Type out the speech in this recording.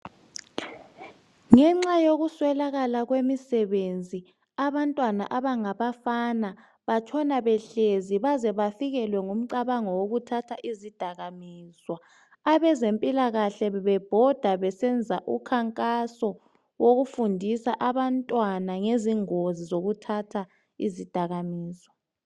Ngenxa yokuswelakala kwemisebenzi abantwana abangabafana batshona behlezi baze bafikelwe ngumcabango wokuthatha izidakamizwa. Abezempilakahle bebebhoda besenza ukhankaso lokufundisa abantwana ngezingozi zokuthatha izidakamizwa.